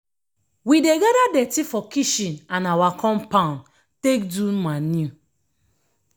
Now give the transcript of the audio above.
we dey gada dirty for kitchen and awa compound take do manure.